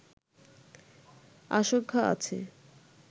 আশঙ্কা আছে